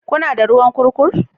Kuna da ruwan kurkur?